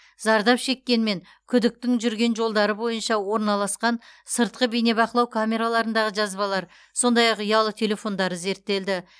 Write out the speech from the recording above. зардап шеккен мен күдіктің жүрген жолдары бойынша орналасқан сыртқы бейнебақылау камераларындағы жазбалар сондай ақ ұялы телефондары зерттелді